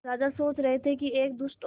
राजा सोच रहे थे कि एक दुष्ट और